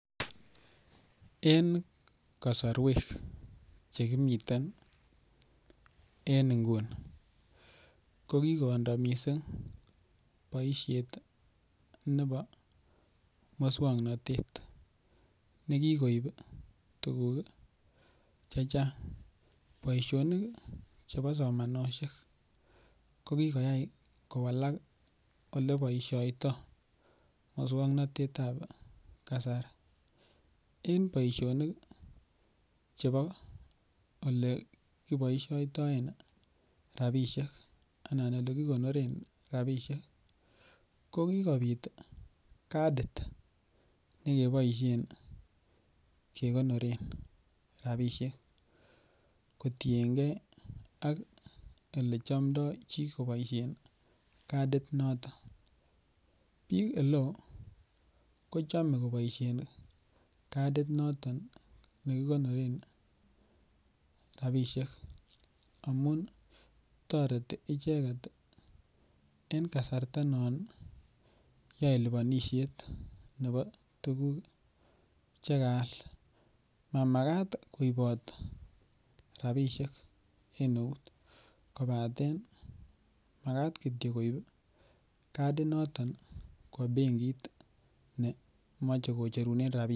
En kasarwek Che kimiten ko kindo mising boisiet nebo moswoknatet ne kikoib tuguk Che Chang boisionik chebo somanosiek ko ki koyai kowalak Ole boisioito moswoknatet ab kasari en boisionik chebo Ole kiboisioten rabisiek anan Ole kigonoren rabisiek ko ki kobit kadit ne keboisien kegonoren rabisiek kotienge ak Ole chamdoi chi koboisien kadinaton bik oleo kochome kobo kadit noton nekikonoren rabisiek amun toreti icheget en kasarta non yoe lipanisiet nebo tuguk Che kaal Mamagat koibot rabisiek en eut kobaten Magat Kityo koibot kadinato kwo benkit ne moche kocherunen rabisiek